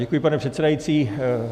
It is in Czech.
Děkuji, pane předsedající.